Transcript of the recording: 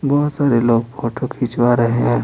बहुत सारे लोग फोटो खींचवा रहे है।